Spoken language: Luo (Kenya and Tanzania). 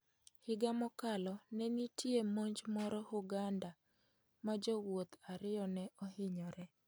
Higa mokalo, ne nitie monj moro Hurgada ma jowuoth ariyo ne ohinyore.